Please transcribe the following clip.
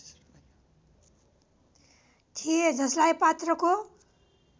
थिए जसलाई पात्रको